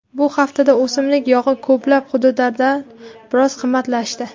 Bu haftada o‘simlik yog‘i ko‘plab hududlarda biroz qimmatlashdi.